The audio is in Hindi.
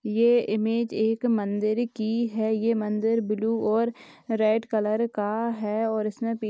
ये इमेज एक मंदिर की है ये मंदिर ब्लू और रेड कलर का है और इसमें पी--